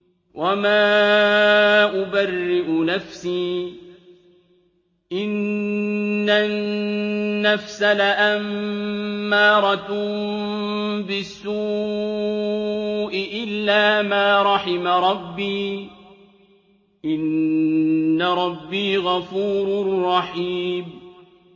۞ وَمَا أُبَرِّئُ نَفْسِي ۚ إِنَّ النَّفْسَ لَأَمَّارَةٌ بِالسُّوءِ إِلَّا مَا رَحِمَ رَبِّي ۚ إِنَّ رَبِّي غَفُورٌ رَّحِيمٌ